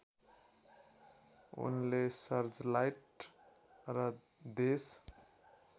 उनले सर्चलाइट र देश